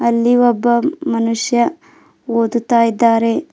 ಅಲ್ಲಿ ಒಬ್ಬ ಮನುಷ್ಯ ಓದುತ್ತಾ ಇದ್ದಾರೆ.